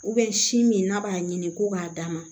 sin min n'a b'a ɲini k'o b'a d'a ma